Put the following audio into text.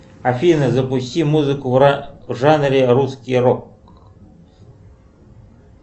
афина запусти музыку в жанре русский рок